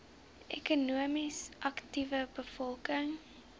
ekonomies aktiewe bevolking